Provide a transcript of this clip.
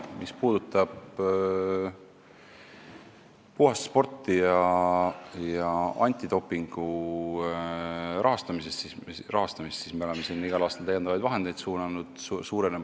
Mis puudutab puhast sporti ja Eesti Antidopingu rahastamist, siis me oleme sinna igal aastal täiendavaid vahendeid suunanud.